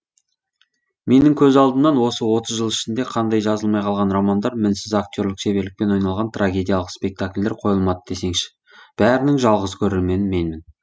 менің көз алдымнан осы отыз жыл ішінде қандай жазылмай қалған романдар мінсіз акте рлік шеберлікпен ойналған трагедиялық спектакльдер қойылмады десеңші бәрінің жалғыз көрермені менмін